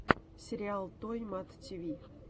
сериал той мат ти ви